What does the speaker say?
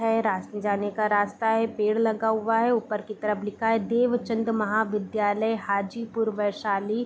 है रास जाने का रास्ता है पेड़ लगा हुआ है ऊपर तरफ लिखा हुआ है देवचंद महाविद्यालय हाजीपुर वैशाली।